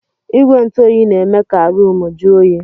Igwe ntụ oyi na-eme ka ruumu ju oyi.